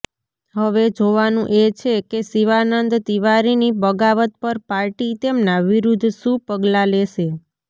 હવે જોવાનુ એ છે કે શિવાનંદ તિવારીની બગાવત પર પાર્ટી તેમના વિરુદ્ધ શુ પગલા લેશે